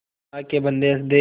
अल्लाह के बन्दे हंस दे